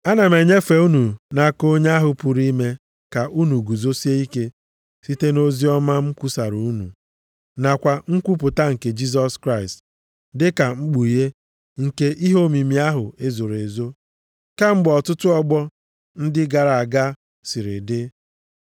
Ana m enyefe unu nʼaka onye ahụ pụrụ ime ka unu guzosie ike site nʼoziọma m kwusaara unu, nakwa nkwupụta nke Jisọs Kraịst, dịka mkpughe nke ihe omimi ahụ e zoro ezo kemgbe ọtụtụ ọgbọ ndị gara aga siri dị.